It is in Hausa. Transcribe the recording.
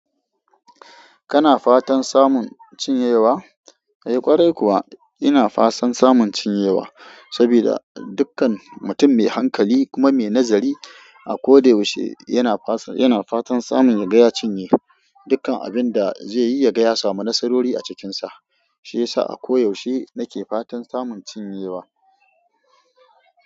Kana fatan samun cinyewa? Eh ƙwarai kuwa ina fatan samun cinyewa, saboda dukkan mutum mai hankali kuma mai nazari a ko da yaushe yana fatan samun ya gaya cinye. Dukkan abin da zai ya gaya ya samu nasarori a cikin sa. Shiyasa a ko yaushe nake fatan samun cinyewa.